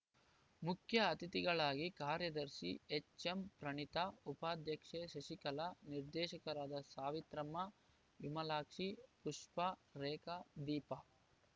ಮುಖ್ಯ ಅತಿಥಿಗಳಾಗಿ ಕಾರ್ಯದರ್ಶಿ ಎಚ್‌ಎಂಪ್ರಣೀತಾ ಉಪಾಧ್ಯಕ್ಷೆ ಶಶಿಕಲಾ ನಿರ್ದೇಶಕರಾದ ಸಾವಿತ್ರಮ್ಮ ವಿಮಲಾಕ್ಷಿ ಪುಪ್ಪಾ ರೇಖಾ ದೀಪಾ